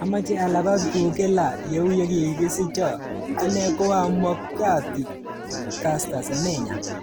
Amache alapat kukila, yeuyekikisicho"Ane koa Mokgadi Caster Semenya.